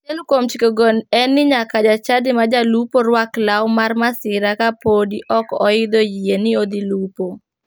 Achiel kuom chikego en ni nyaka ja chadi ma jalupo ruak law mar masira kapodi ok oidho yie ni odhi lupo.